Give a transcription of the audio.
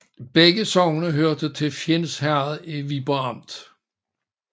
Begge sogne hørte til Fjends Herred i Viborg Amt